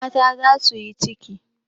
Mata za su yi ciki.